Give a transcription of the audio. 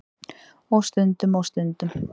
Og stundum. og stundum.